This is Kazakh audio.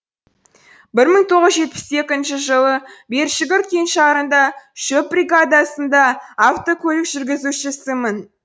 бір мың тоғыз жүз жетпіс екінші жылы бершүгір кеңшарында шөп бригадасында автокөлік жүргізушісімін